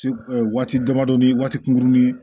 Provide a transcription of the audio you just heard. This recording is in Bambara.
Se waati damadɔ ni waati kunkurunnin